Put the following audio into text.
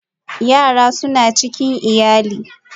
Yara suna cikin iyali